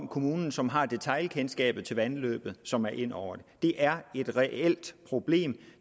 kommunen som har detailkendskabet til vandløbet som er inde over det det er et reelt problem